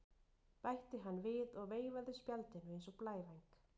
bætti hann við og veifaði spjaldinu eins og blævæng.